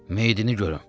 Meyidini görün.